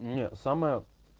не самая